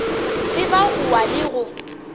tseba go wa le go